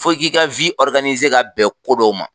Fo k'i ka ka bɛn ko dɔw ma